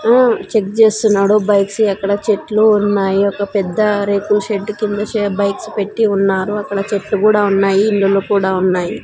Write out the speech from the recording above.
ఆమ్మ్ check చేస్తున్నాడు bikes ఎక్కడ చెట్లు ఉన్నాయి ఒక పెద్ద రేకుల షెడ్డు కింద షె బైక్స్ పెట్టి ఉన్నారు అక్కడ చెట్లు కూడా ఉన్నాయి ఇల్లులు కూడా ఉన్నాయి.